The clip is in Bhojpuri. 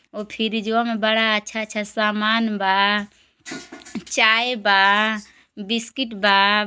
और फ्रिजवा मे बड़ा अच्छा अच्छा सामान बा। चाय बा। बिस्किट बा।